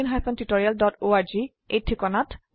কথন শিক্ষণ প্ৰকল্প তাল্ক ত a টিচাৰ প্ৰকল্পৰ এটা অংগ